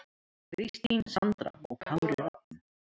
Kristín Sandra og Kári Rafn.